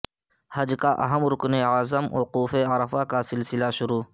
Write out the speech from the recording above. حج کا اہم رکن اعظم وقوف عرفہ کا سلسلہ شروع